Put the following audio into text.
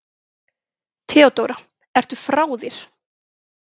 THEODÓRA: Ertu frá þér?